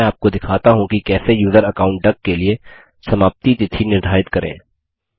मैं आपको दिखाता हूँ कि कैसे यूज़र अकाउंट डक के लिए समाप्ति तिथि निर्धारित करें